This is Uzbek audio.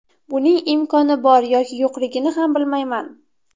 Buning imkoni bor yoki yo‘qligini ham bilmayman.